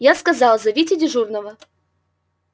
я сказал зовите дежурного